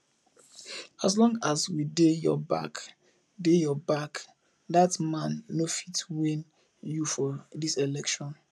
as long as we dey your back dey your back dat man no fit win you for dis election